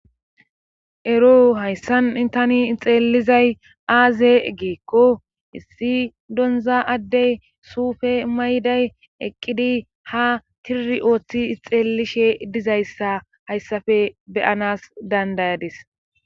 ero hayssan tani xeelizay aaze geekko issi donza addey suufe mayday eqqidi ha tiri ooththi xeellishe dizayssa hayssafe beyanas dandayadis